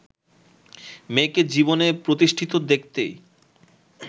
মেয়েকে জীবনে প্রতিষ্ঠিত দেখতেই